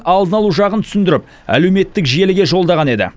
алдын алу жағын түсіндіріп әлеуметтік желіге жолдаған еді